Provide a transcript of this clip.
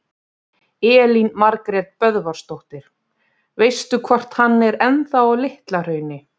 Elín Margrét Böðvarsdóttir: Veistu hvort hann er ennþá á Litla-Hrauni?